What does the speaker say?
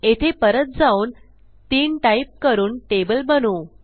येथे परत जाऊन तीन टाईप करून टेबल बनवू